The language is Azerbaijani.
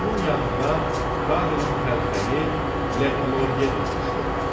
Onun yanında Karlın təlxəyi Le Gloriye durmuşdu.